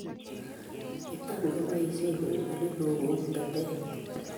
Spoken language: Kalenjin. Kitam keboisien eng' eleoo kouu tetet